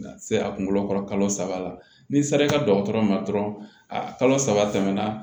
Se a kunkolo kɔrɔ kalo saba la n'i sera i ka dɔgɔtɔrɔ ma dɔrɔn a kalo saba tɛmɛna